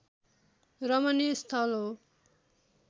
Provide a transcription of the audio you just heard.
रमणीय स्थल हो